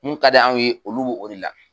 Mun ka di anw ye olu wuli la.